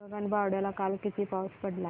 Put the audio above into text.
गगनबावड्याला काल किती पाऊस पडला